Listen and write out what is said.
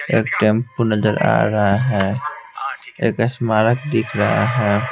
एक टेंपो नजर आ रहा है एक स्मारक दिख रहा है.